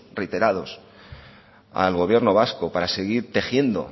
reiterados al gobierno vasco para seguir tejiendo